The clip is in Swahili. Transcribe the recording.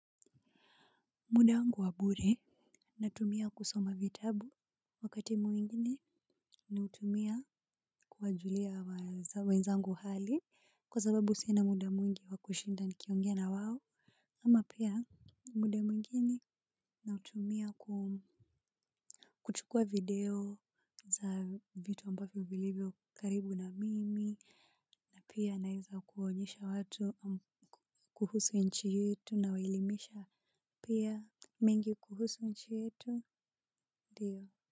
Muda wangu wa bure natumia kusoma vitabu. Wakati mwingine nautumia kuwajulia wanzangu hali. Kwa sababu sina muda mwingi wakushinda nikiongea na wao. Ama pia muda mwingine Nautumia Kuchukua video za vitu ambavyo vilivyo karibu na mimi. Pia naweza kuonyesha watu kuhusu nchi yetu nawaelimisha. Pia mengi kuhusu nchi yetu ndiyo.